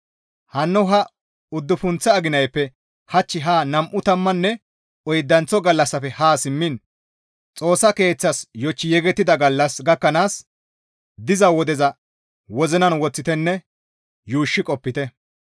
Hanno ha uddufunththa aginayppe hach ha nam7u tammanne oydanththo gallassafe haa simmiin Xoossa Keeththas yochchi yegettida gallas gakkanaas diza wodeza wozinan woththitenne yuushshi qopite.